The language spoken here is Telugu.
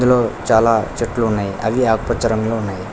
చాలా చెట్లు ఉన్నాయి అవి ఆకుపచ్చ రంగులో ఉన్నాయి.